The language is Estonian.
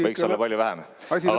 Võiks olla palju vähem.